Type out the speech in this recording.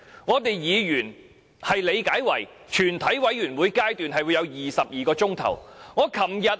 根據議員理解，這表示全體委員會有22小時辯論《條例草案》。